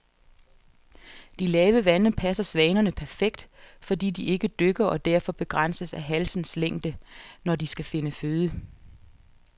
De lave vande passer svanerne perfekt, fordi de ikke dykker og derfor begrænses af halsens længde, når de skal finde føde.